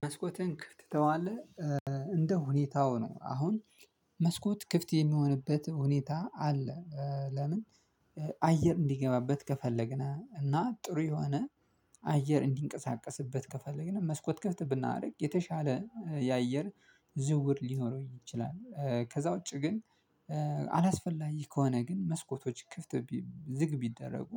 መስኮትን ክፍት ትተዋለህ እንደ ሁኔታው ነው አሁን መስኮት ክፍት የሚሆንበት ሁኔታ አለ። ለምን? አየር እንዲገባበት ከፈለግን እና ጥሩ የሆነ አየር እንዲንቀሳቀስበት ከፈለግን መስኮት ክፍት ብናደርግ የተሻለ የአየር ዝውውር ሊሆን ይችላል። ከዛ ውጪ ግን አላስፈላጊ ከሆነ ግን መስኮቶች ክፍት ዝግ ቢደረጉ